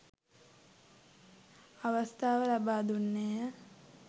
අවස්ථාව ලබා දුන්නේ ය.